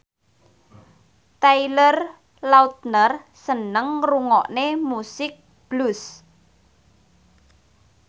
Taylor Lautner seneng ngrungokne musik blues